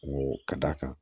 O ka d'a kan